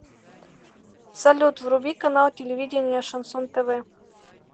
салют вруби канал телевидения шансон тв